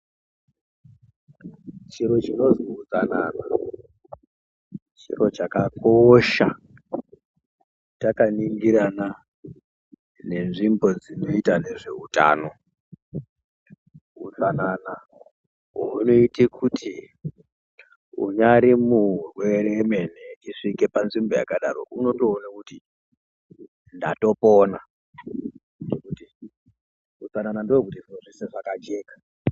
Chiro chinonzi utsanana chiro chakakosha takaningirana nenzvimbo dzinoita nezveutano. Hutsanana hunoita kuti unyari murwere emene eisvike panzimbo yakadaro unotoona kuti ndatopona. Ngekuti utsanana ndokuti zviro zveshe zvakajeka.